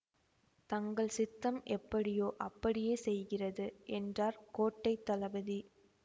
தங்கள் சித்தம் எப்படியோ அப்படியே செய்கிறது என்றார் கோட்டை தளபதி